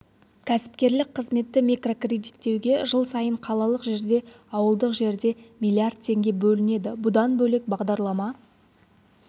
кәсіпкерлік қызметті микрокредиттеуге жыл сайын қалалық жерде ауылдық жерде миллиард теңге бөлінеді бұдан бөлек бағдарлама